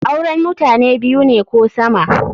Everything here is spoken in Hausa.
Auren mutane biyu ne ko sama.